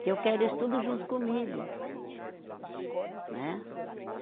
Que eu quero eles tudo junto comigo, né.